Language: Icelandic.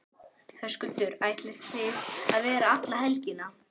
Höskuldur: Ætlið þið að vera alla helgina?